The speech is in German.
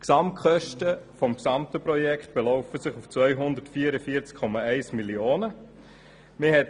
Die Gesamtkosten des Projekts belaufen sich auf 244,1 Mio. Franken.